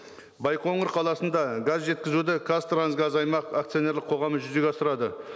байқоңыр қаласында газ жеткізуді қазтрансгаз аймақ акционерлік қоғамы жүзеге асырады